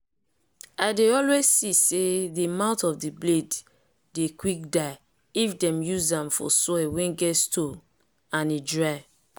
i dey always see say the mouth of the blade dey quick die if them used am for soil wen get stone and e dry.